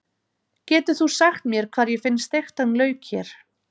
Getur þú sagt mér hvar ég finn steiktan lauk hér?